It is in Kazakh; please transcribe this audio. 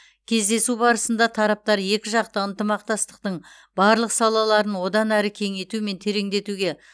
кездесу барысында тараптар екіжақты ынтымақтастықтың барлық салаларын одан әрі кеңейту мен тереңдетуге